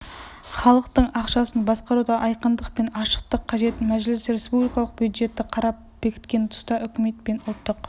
халықтың ақшасын басқаруда айқындық пен ашықтық қажет мәжіліс республикалық бюджетті қарап бекіткен тұста үкімет пен ұлттық